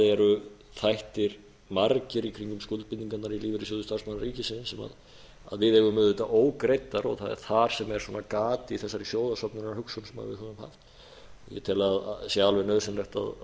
það eru þættir margir í kringum skuldbindingarnar í lífeyrissjóði starfsmanna ríkisins sem við eigum auðvitað ógreiddar og það er þar sem er gat í þessari sjóðasöfnunarhugsun sem við höfum haft ég tel að það sé alveg nauðsynlegt að